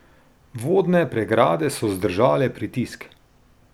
Vodne pregrade so zdržale pritisk.